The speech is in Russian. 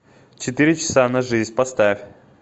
четыре часа на жизнь поставь